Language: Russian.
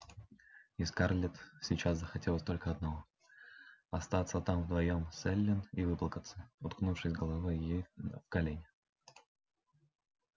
и скарлетт сейчас захотелось только одного остаться там вдвоём с эллин и выплакаться уткнувшись головой ей в колени